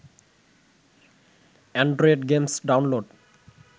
Android games download